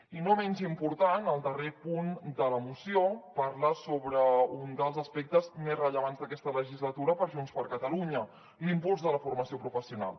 i no menys important el darrer punt de la moció parla sobre un dels aspectes més rellevants d’aquesta legislatura per junts per catalunya l’impuls de la formació professional